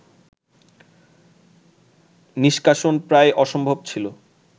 নিষ্কাশন প্রায় অসম্ভব ছিল